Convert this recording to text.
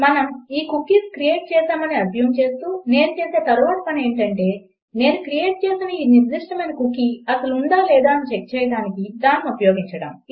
మనం ఈ cookies create చేసామని అస్యూమ్ చేస్తూ నేను చేసే తరువాతి పని ఏమిటి అంటే నేను క్రియేట్ చేసిన ఈ నిర్దిష్టమైన కుకీ అసలు ఉందా లేదా అని చెక్ చేయడానికి దానిని ఉపయోగించడం